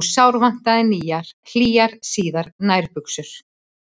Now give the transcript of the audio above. og sárvantaði hlýjar síðar nærbuxur.